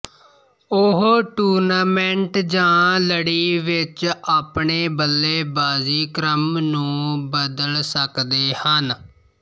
ਉਹ ਟੂਰਨਾਮੈਂਟ ਜਾਂ ਲੜੀ ਵਿੱਚ ਆਪਣੇ ਬੱਲੇਬਾਜ਼ੀ ਕ੍ਰਮ ਨੂੰ ਬਦਲ ਸਕਦੇ ਹਨ